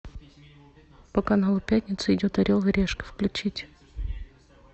по каналу пятница идет орел и решка включить